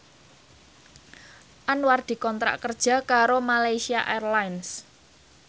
Anwar dikontrak kerja karo Malaysia Airlines